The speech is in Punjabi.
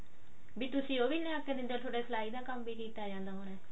ਵੀ ਤੁਸੀਂ ਉਹ ਵੀ ਲਿਆ ਕੇ ਦਿੰਦੇ ਹੋ ਥੋਡਾ ਸਲਾਈ ਦਾ ਕੰਮ ਵੀ ਠੀਕ ਆ ਜਾਂਦਾ ਹੋਣਾ